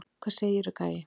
Hvað segirðu, gæi?